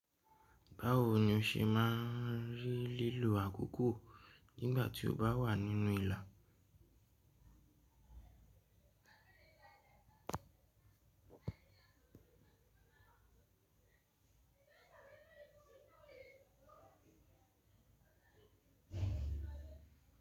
Báwo ni o ṣe máa ń rí lílo àkókò nígbà tí o bá wà nínú ìlà?